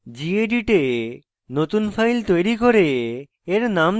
gedit a নতুন file তৈরি করে